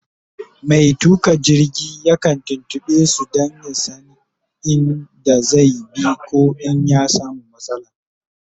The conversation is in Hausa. Mai tuƙa jirgi yakan tuntuɓe su Dan ya San in da zai bi koh in ya samu matsala